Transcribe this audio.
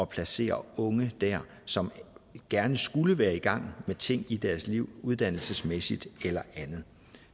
placere unge dér som gerne skulle være i gang med ting i deres liv uddannelsesmæssigt eller andet